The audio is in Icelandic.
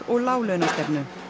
og láglaunastefnu